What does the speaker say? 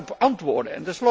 Kunt u daarop antwoorden?